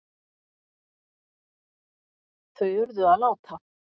Þau urðu að láta